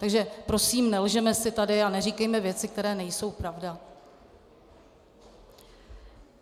Takže prosím, nelžeme si tady a neříkejme věci, které nejsou pravda.